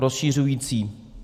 Rozšiřující.